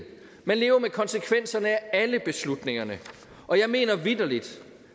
man lever med konsekvenserne af alle beslutningerne og jeg mener vitterlig